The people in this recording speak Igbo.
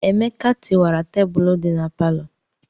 Emeka tiwara tebụlụ dị na palọ.